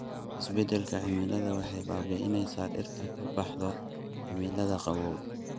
Isbeddelka cimiladu waxay baabi'inaysaa dhirta ka baxda cimilada qabow.